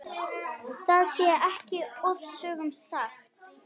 Það sé ekki ofsögum sagt.